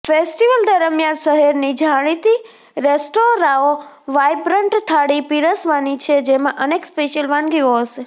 festival દરમિયાન શહેરની જાણીતી રેસ્ટોરાંઓ વાયબ્રન્ટ થાળી પીરસવાની છે જેમાં અનેક સ્પેશિયલ વાનગીઓ હશે